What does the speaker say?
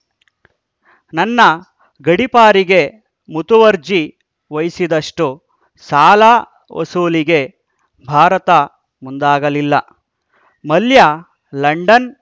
ನನ್ನ ಗಡೀಪಾರಿಗೆ ಮುತುವರ್ಜಿ ವಹಿಸಿದಷ್ಟುಸಾಲ ವಸೂಲಿಗೆ ಭಾರತ ಮುಂದಾಗಲಿಲ್ಲ ಮಲ್ಯ ಲಂಡನ್‌